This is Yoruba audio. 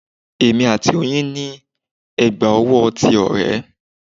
Èmi àti oyin ní ẹ̀gbà owó ti ọ̀rẹ́